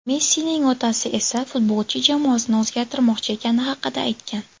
Messining otasi esa futbolchi jamoasini o‘zgartirmoqchi ekani haqida aytgan.